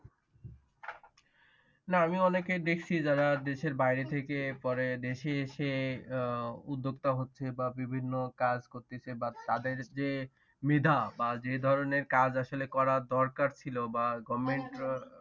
না আমি অনেকের দেখছি যারা দেশের বাহিরে থেকে পরে দেশে এসে আহ উদ্যোক্তা হচ্ছে বা বিভিন্ন কাজ করতেছে বা তাদের যে মেধা বা যে ধরণের কাজ আসলে করা দরকার ছিল। বা government